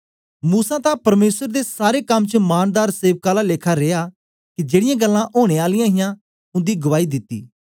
मूसा तां परमेसर दे सारे कर च मानदार सेवक आला लेखा रिया के जेड़ीयां गल्लां ओनें आलियां हां उन्दी गुआई दिती